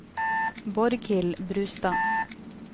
Borghild Brustad